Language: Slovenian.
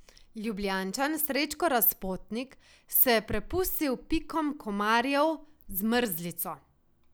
Ljubljančan Srečko Razpotnik se je prepustil pikom komarjev z mrzlico.